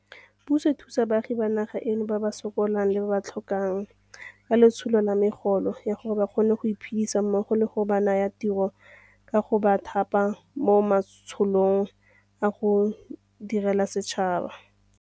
Puso e thusa baagi ba naga eno ba ba sokolang le ba ba tlhokang ka letsholo la megolo ya gore ba kgone go iphedisa mmogo le ka go ba naya ditiro ka go ba thapa mo matsholong a go direla setšhaba.